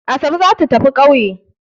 Asabe za ta tafi ƙauye.